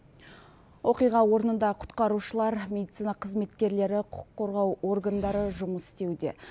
оқиға орнында құтқарушылар медицина қызметкерлері құқық қорғау органдары жұмыс істеуде